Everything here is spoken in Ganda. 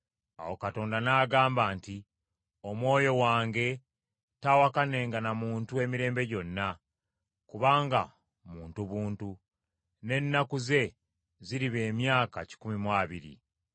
Awo Mukama n’agamba nti, “Omwoyo wange taawakanenga na muntu emirembe gyonna, kubanga muntu buntu; n’ennaku ze ziriba emyaka kikumi mu abiri.”